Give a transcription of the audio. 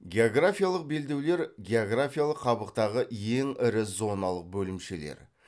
географиялық белдеулер географиялық қабықтағы ең ірі зоналық бөлімшелер